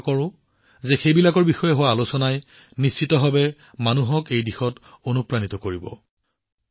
মই আশা কৰোঁ যে তেওঁলোকৰ বিষয়ে আলোচনাই নিশ্চিতভাৱে জনসাধাৰণক এই দিশত অনুপ্ৰাণিত কৰিব